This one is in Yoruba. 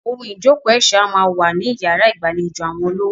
Ohun ìjókòó ẹ̀ṣọ́ a máa wà ní yàrá ìgbàlejò àwọn olówó.